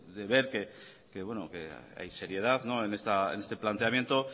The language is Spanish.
de ver que hay seriedad en este planteamiento